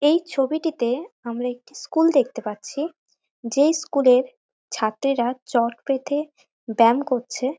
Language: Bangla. এই ছবিটিতে আমরা একটি স্কুল দেখতে পাচ্ছি। যেই স্কুল -এর ছাত্রীরা চট পেতে ব্যাম করছে।